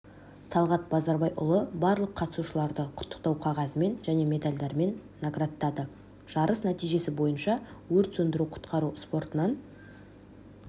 талғат базарбайұлы барлық қатысушыларды құттықтау қағазымен және медальдармен наградтады жарыс нәтижесі бойынша өрт сөндіру-құтқару спортынан